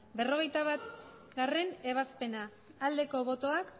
berrogeita batgarrena ebazpena aldeko botoak